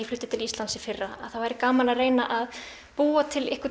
flutti til Íslands í fyrra að það væri gaman að búa til